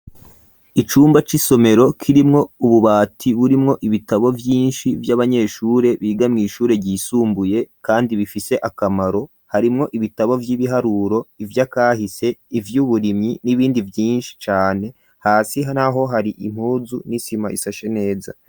Icumba c'isomero, kirimwo ububati burimwo ibitabo Vyinshi ,vy'abanyeshure bigamwe ishure ryisumbuye kandi bifise akamaro ,harimwo ibitabo vy'ibiharuro ivyakahise ,ivy'uburimyi n'ibindi vyinshi cane, hasi naho hari impuzu n'isima isashe neza.